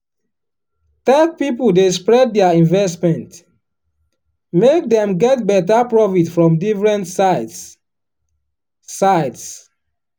um tech people dey spread their investment make dem get better profit from different sides. sides.